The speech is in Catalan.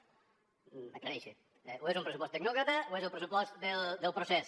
aclareixi’s o és un pressupost tecnòcrata o és el pressupost del procés